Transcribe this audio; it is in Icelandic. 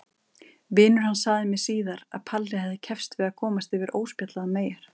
Vinur hans sagði mér síðar að Palli hefði keppst við að komast yfir óspjallaðar meyjar.